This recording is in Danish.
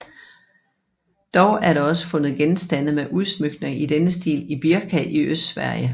Dog er der også fundet genstande med udsmykninger i denne stil i Birka i Østsverige